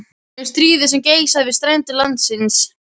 Um stríðið sem geisaði við strendur landsins